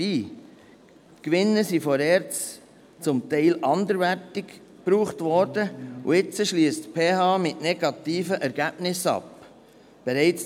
Die Gewinne wurden von der ERZ zum Teil anderweitig eingesetzt, und nun schliesst die PH Bern bereits zum dritten Mal mit negativen Ergebnissen ab.